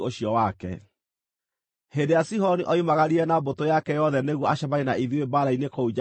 Hĩndĩ ĩrĩa Sihoni oimagarire na mbũtũ yake yothe nĩguo acemanie na ithuĩ mbaara-inĩ kũu Jahazu,